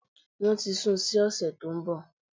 Wọ́n ti sun sí òsẹ̀ tó nbọ̀